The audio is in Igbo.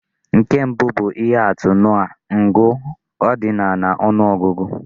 Nke mbụ bụ ihe atụ nke ngụ ordinal na ọnụ ọgụgụ.